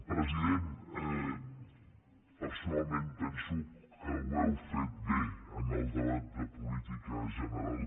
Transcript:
president personalment penso que ho heu fet bé en el debat de política general